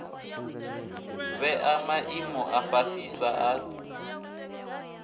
vhea maimo a fhasisa a